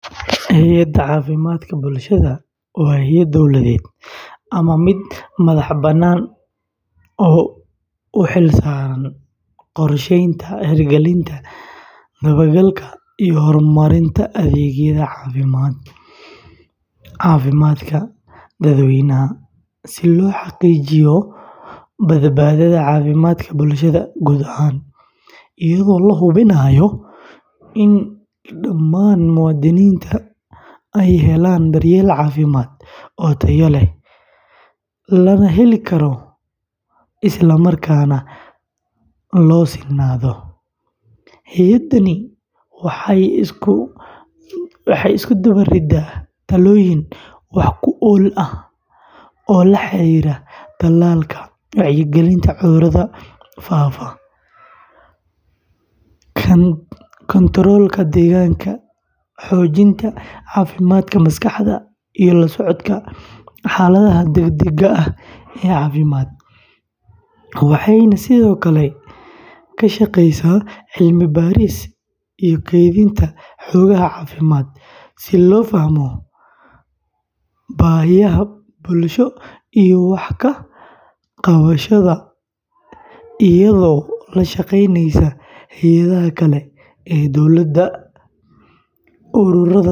Hay’adda caafimaadka bulshada waa hay’ad dawladeed ama mid madaxbannaan oo u xilsaaran qorsheynta, hirgelinta, dabagalka, iyo horumarinta adeegyada caafimaadka dadweynaha si loo xaqiijiyo badbaadada caafimaadka bulshada guud ahaan, iyadoo la hubinayo in dhammaan muwaadiniintu helaan daryeel caafimaad oo tayo leh, la heli karo, isla markaana loo sinnaado; hay’addani waxay isku dubariddaa talaabooyin wax ku ool ah oo la xiriira tallaalka, wacyigelinta cudurrada faafa, kantaroolka deegaanka, xoojinta caafimaadka maskaxda, iyo la socodka xaaladaha degdegga ah ee caafimaad, waxayna sidoo kale ka shaqaysaa cilmi-baaris iyo kaydinta xogaha caafimaadka si loo fahmo baahiyaha bulsho iyo wax ka qabashadooda iyadoo la kaashaneysa hay’adaha kale ee dawladda.